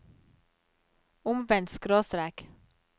omvendt skråstrek